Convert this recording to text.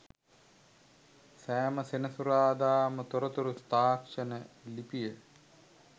සෑම සෙනසුරාදාම තොරතුරු තාක්ෂණ ලිපිය